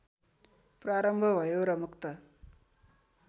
प्रारम्भ भयो र मुक्त